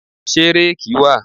Ṣé réèkì wà?